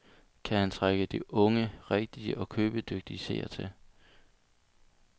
Kan han trække de unge, rigtige og købedygtige seere til.